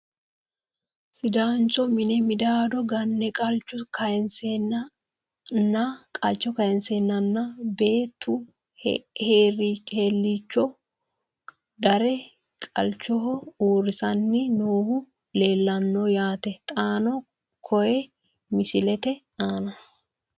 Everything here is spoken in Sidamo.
Sidaancho minne maddaada ganne , qalichcho kayiinseenna nna beettu heericho darre qalichcho usuranni noohu leelanno yaatte xaanno koye misilette aanna